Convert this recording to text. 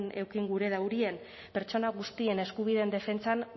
eduki gura daurien pertsona guztien eskubideen defentsan